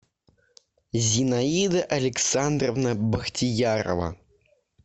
зинаида александровна бахтиярова